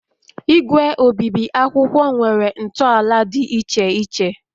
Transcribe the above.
Igwe obibi akwụkwọ nwere ntọala dị iche iche